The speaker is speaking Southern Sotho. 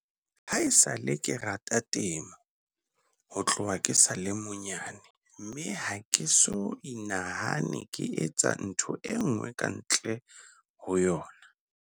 Ha esale ke rata temo ho tloha ke sa le monyane mme ha ke so inahane ke etsa ntho enngwe ka ntle ho yona."